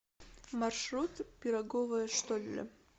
маршрут пироговая штолле